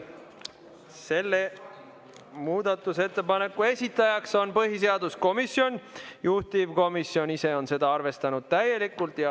Selle muudatusettepaneku esitaja on põhiseaduskomisjon, juhtivkomisjon on seda arvestanud täielikult.